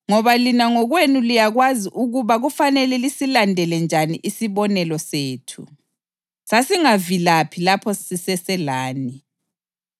Ngoba lina ngokwenu liyakwazi ukuba kufanele lisilandele njani isibonelo sethu. Sasingavilaphi lapho siseselani